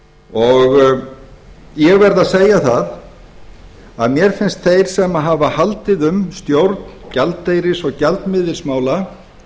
ég verð að segja það að mér finnst þeir sem hafa haldið um stjórn gjaldeyris og gjaldmiðilsmála